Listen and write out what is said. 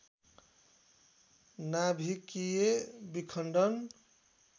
नाभिकीय विखण्डन